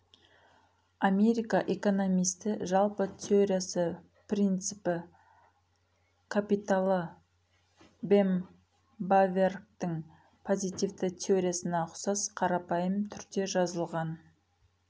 америка экономисті жалпы теориясы принципі капиталы бем баверктің позитивті теориясына ұқсас қарапайым түрде жазылған